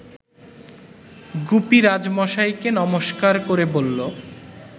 গুপি রাজমশাইকে নমস্কার ক’রে বলল